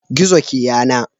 Gizo ke yana.